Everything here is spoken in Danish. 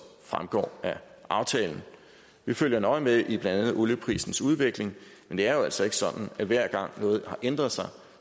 fremgår af aftalen vi følger nøje med i blandt andet olieprisens udvikling men det er jo altså ikke sådan at hver gang noget har ændret sig